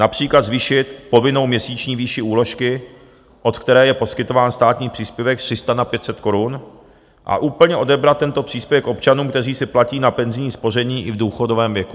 Například zvýšit povinnou měsíční výši úložky, od které je poskytován státní příspěvek, z 300 na 500 korun a úplně odebrat tento příspěvek občanům, kteří si platí na penzijní spoření i v důchodovém věku.